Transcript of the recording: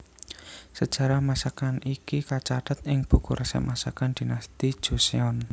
Sejarah masakan iki kacathet ing buku resep masakan Dinasti Joseon